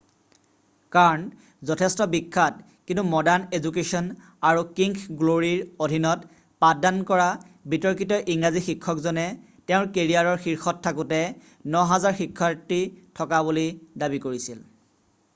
Kern' যথেষ্ট বিখ্যাত কিন্তু মডাৰ্ণ এজুকেশ্বন আৰু কিংথ গ্ল'ৰীৰ অধীনত পাঠদান কৰা বিতৰ্কিত ইংৰাজী শিক্ষকজনে তেওঁৰ কেৰিয়াৰৰ শীৰ্ষত থাকোঁতে 9000 শিক্ষাৰ্থী থকা বুলি দাবী কৰিছিল